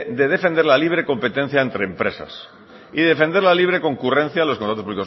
de defender la libre competencia entre empresas y defender la libre concurrencia en los contratos